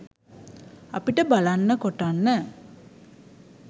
අපිට බලන්න කොටන්න